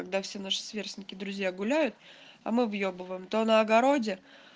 когда все наши сверстники друзья гуляют а мы въебываем то на огороде